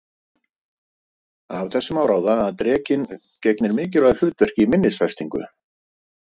Af þessu má ráða að drekinn gegnir mikilvægu hlutverki í minnisfestingu.